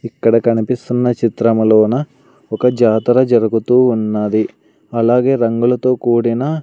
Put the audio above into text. ఇక్కడ కనిపిస్తున్న చిత్రపటంలోన ఒక జాతర జరుగుతూ ఉన్నది అలాగే రంగులతో కూడిన--